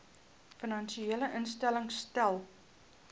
finansiële instellings stel